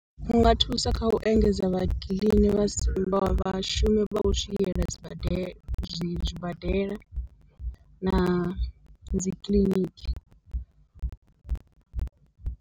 U nga thusa kha u engedza vha kiḽini vha vhashumi vha swiela sibadela zwi zwibadela na dzi kiḽiniki.